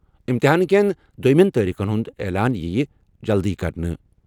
امتحان کیٚن دۄیمیٚن تٲریٖخن ہُنٛد اعلان یِیہِ جلدی کرنہٕ۔